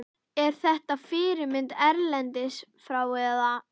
Er þetta fyrirmynd erlendis frá eða?